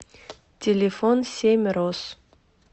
телефон семь роз